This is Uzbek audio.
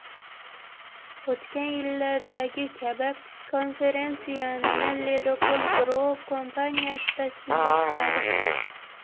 O‘tgan yillardagi kabi, konferensiyani Ledokol Group kompaniyasi tashkillashtiradi.